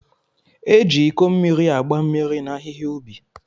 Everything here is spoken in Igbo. E ji Iko mmiri agba mmiri na ahịhịa ubi.